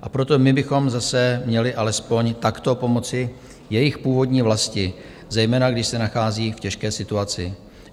A proto my bychom zase měli alespoň takto pomoci jejich původní vlasti, zejména když se nachází v těžké situaci.